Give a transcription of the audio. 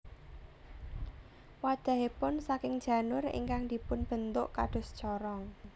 Wadhahipun saking janur ingkang dipun bentuk kados corong